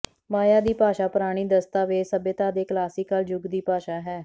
ਮਾਇਆ ਦੀ ਭਾਸ਼ਾ ਪੁਰਾਣੀ ਦਸਤਾਵੇਜ਼ ਸਭਿਅਤਾ ਦੇ ਕਲਾਸੀਕਲ ਯੁੱਗ ਦੀ ਭਾਸ਼ਾ ਹੈ